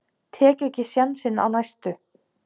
Tek ekki sénsinn á næstu.